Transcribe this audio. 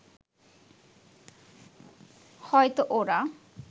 হয়তো ওরা